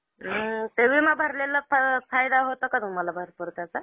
हम्म. विमा भरलेला फायदा होतो का तुम्हाला भरपूर त्याचा?